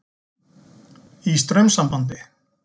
Í straumsambandi.